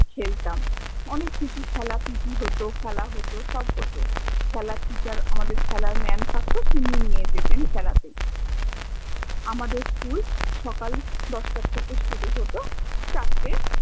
অনেক কিছু খেলা PT হত, খেলা হত সব হত খেলার তে আমদের খেলার mam থাকত তিনি নিয়ে যেতেন খেলাতেন আমদের school সকাল দ্শ্টা থেকে শুরু হত চারটে